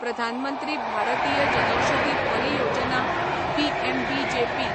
प्रधान मंत्री भारतीय जनौषधी परियोजना' पीएमबीजेपी